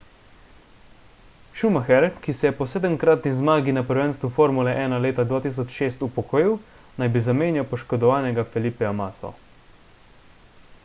schumacher ki se je po sedemkratni zmagi na prvenstvu formule 1 leta 2006 upokojil naj bi zamenjal poškodovanega felipeja masso